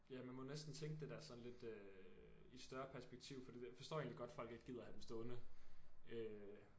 Ja man må næsten tænke det der sådan lidt øh i større perspektiv fordi forstår egentlig godt folk ikke gider have dem stående øh